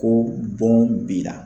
Ko bɔn b'i bila